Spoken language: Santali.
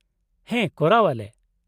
-ᱦᱮᱸ ᱠᱚᱨᱟᱣ ᱟᱞᱮ ᱾